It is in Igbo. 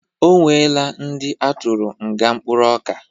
Ọ nwela ndi atụrụ nga mkpụrụ ọka